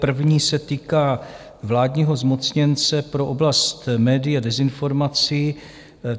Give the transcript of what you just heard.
První se týká vládního zmocněnce pro oblast médií a dezinformací.